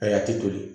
Ayi a ti toli